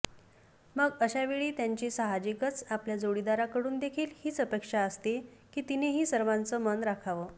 मग अशावेळी त्यांची सहाजिकच आपल्या जोडीदाराकडून देखील हीच अपेक्षा असते की तिनेही सर्वांचं मन राखावं